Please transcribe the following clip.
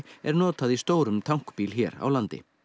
er notað í stórum tankbíl hér á landi